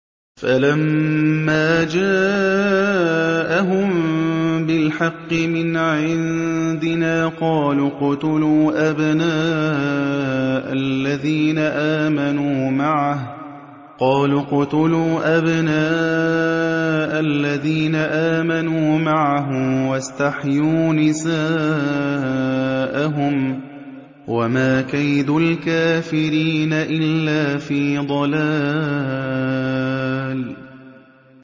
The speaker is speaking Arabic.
فَلَمَّا جَاءَهُم بِالْحَقِّ مِنْ عِندِنَا قَالُوا اقْتُلُوا أَبْنَاءَ الَّذِينَ آمَنُوا مَعَهُ وَاسْتَحْيُوا نِسَاءَهُمْ ۚ وَمَا كَيْدُ الْكَافِرِينَ إِلَّا فِي ضَلَالٍ